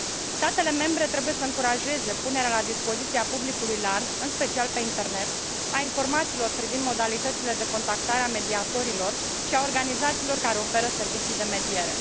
Statele membre trebuie să încurajeze punerea la dispoziția publicului larg, în special pe internet, a informațiilor privind modalitățile de contactare a mediatorilor și a organizațiilor care oferă servicii de mediere.